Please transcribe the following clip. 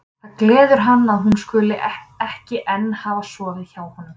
Það gleður hann að hún skuli ekki enn hafa sofið hjá honum.